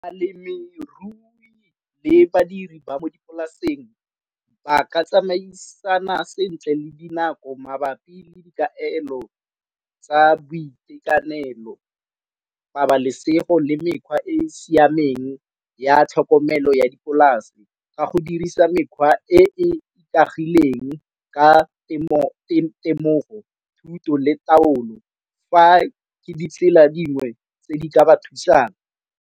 Balemirui le badiri ba mo dipolaseng ba ka tsamaisana sentle le dinako mabapi le dikaelo tsa boitekanelo, pabalesego le mekgwa e e siameng ya tlhokomelo ya dipolase ka go dirisa mekgwa e ikaegileng ka temogo thuto le taolo fa ke ditsela dingwe tse di ka ba thusang.